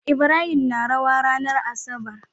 Ibrahim na rawa ranar asabar